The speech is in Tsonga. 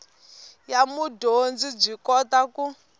ya mudyondzi byi kota ku